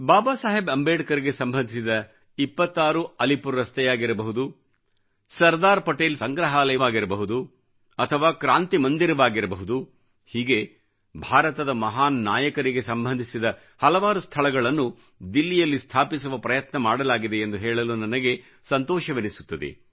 ಬಾಬಾ ಸಾಹೇಬ್ ಅಂಬೇಡ್ಕರ್ ಗೆ ಸಂಬಂಧಿಸಿದ 26 ಅಲಿಪುರ್ ರಸ್ತೆಯಾಗಿರಬಹುದು ಸರ್ದಾರ್ ಪಟೇಲ್ ಸಂಗ್ರಹವಾಗಿರಬಹುದು ಅಥವಾ ಕ್ರಾಂತಿ ಮಂದಿರವಾಗಿರಬಹುದು ಹೀಗೆ ಭಾರತದ ಮಹಾನ್ ನಾಯಕರಿಗೆ ಸಂಬಂಧಿಸಿದ ಹಲವಾರು ಸ್ಥಳಗಳನ್ನು ದಿಲ್ಲಿಯಲ್ಲಿ ಸ್ಥಾಪಿಸುವ ಪ್ರಯತ್ನ ಮಾಡಲಾಗಿದೆ ಎಂದು ಹೇಳಲು ನನಗೆ ಸಂತೋಷವೆನಿಸುತ್ತದೆ